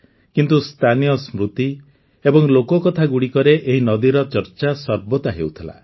କିନ୍ତୁ ସ୍ଥାନୀୟ ସ୍ମୃତି ଏବଂ ଲୋକକଥାଗୁଡ଼ିକରେ ଏହି ନଦୀର ଚର୍ଚ୍ଚା ସର୍ବଦା ହେଉଥିଲା